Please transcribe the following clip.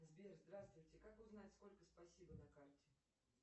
сбер здравствуйте как узнать сколько спасибо на карте